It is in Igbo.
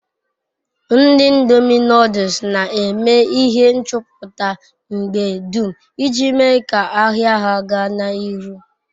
Ndi ndomi noduls n'eme ihe nchuputa mgbe dum iji mee ka-ahia ha gaa n'iru